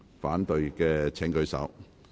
反對的請舉手。